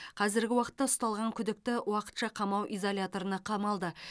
қазіргі уақытта ұсталған күдікті уақытша қамау изоляторына қамалды